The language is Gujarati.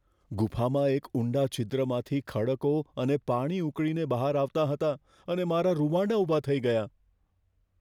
ગુફામાં એક ઊંડા છિદ્રમાંથી ખડકો અને પાણી ઉકળીને બહાર આવતાં હતાં અને મારા રૂંવાડા ઊભા થઈ ગયાં.